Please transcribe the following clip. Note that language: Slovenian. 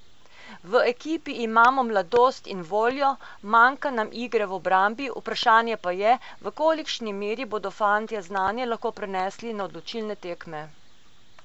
V ekipi imamo mladost in voljo, manjka nam igre v obrambi, vprašanje pa je, v kolikšni meri bodo fantje znanje lahko prenesli na odločilne tekme.